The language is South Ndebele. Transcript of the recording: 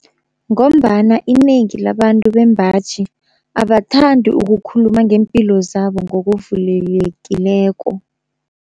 Ngombana inengi labantu bembaji abathandi ukukhuluma ngeempilo zabo ngokuvulelekileko.